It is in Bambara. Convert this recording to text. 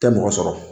Tɛ mɔgɔ sɔrɔ